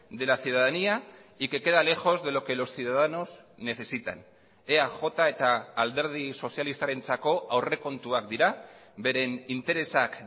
de la ciudadanía y que queda lejos de lo que los ciudadanos necesitan eaj eta alderdi sozialistarentzako aurrekontuak dira beren interesak